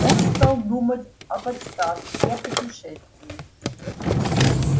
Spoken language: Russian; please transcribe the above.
он стал думать об отставке и о путешествии